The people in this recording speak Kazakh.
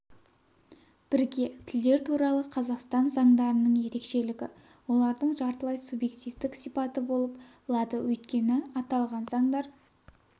бірге тілдер туралы қазақстан заңдарының ерекшелігі олардың жартылай субъективтік сипаты болып лады өйткені аталған заңдар